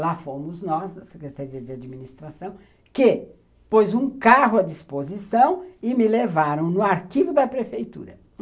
Lá fomos nós, a Secretaria de Administração, que pôs um carro à disposição e me levaram no arquivo da prefeitura.